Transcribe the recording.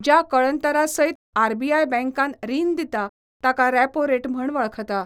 ज्या कळंतरासयत RBI bank रीण दिता ताका रॅपो रेट म्हण वळखता.